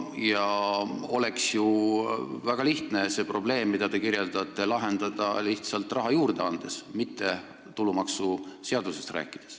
Oleks ju väga lihtne see probleem, mida te kirjeldate, lahendada lihtsalt raha juurde andes, mitte tulumaksuseadusest rääkides.